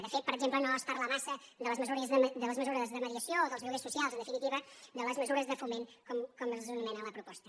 de fet per exemple no es parla massa de les mesures de mediació o dels lloguers so·cials en definitiva de les mesures de foment com les anomena la proposta